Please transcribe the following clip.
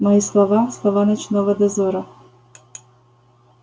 мои слова слова ночного дозора